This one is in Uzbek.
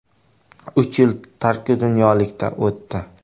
Uch yil tarki dunyolikda o‘tdi.